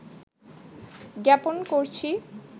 জ্ঞাপন করছি